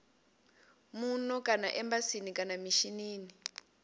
muno kana embasini kana mishinini